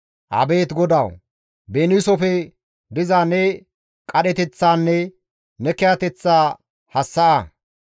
Abeet GODAWU! Beniisofe diza ne qadheteththaanne ne kiyateththa hassa7a.